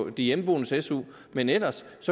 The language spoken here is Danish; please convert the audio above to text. i de hjemmeboendes su men ellers